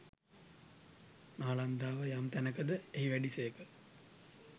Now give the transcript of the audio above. නාලන්දාව යම් තැනක ද එහි වැඩි සේක.